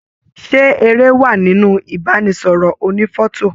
Ṣe èrè wá nínú ibanisọrọ ònífọ̀tò?